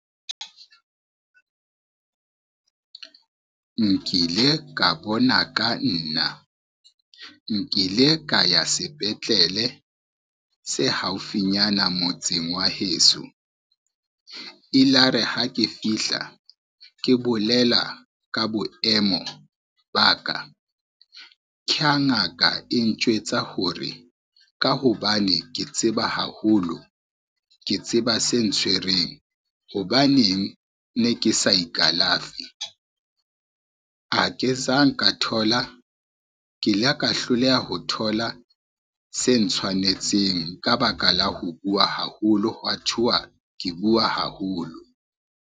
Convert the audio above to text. Nkile ka bona ka nna, nkile ka ya sepetlele se haufinyana motseng wa heso. E la re ha ke fihla ke bolela ka boemo ba ka, ke ha ngaka e ntjwetsa hore ka hobane ke tseba haholo, ke tseba se ntshwereng hobaneng ne ke sa ikalafe, ke ila ka hloleha ho thola se ntshwanetseng ka baka la ho bua haholo, hwa thuwa ke bua haholo.